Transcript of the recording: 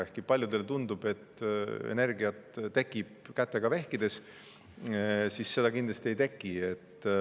Ehkki paljudele tundub, et energiat tekib kätega vehkides, nii seda kindlasti ei teki.